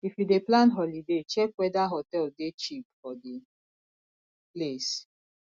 if you dey plan holiday check weda hotel dey cheap for di place